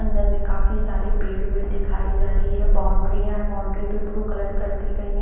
अंदर मे काफी सारे पेड़ वेड दिखाई जा रही है बॉउंड्रीया है बॉउंड्री पे ब्लू कलर कर दी गयी है।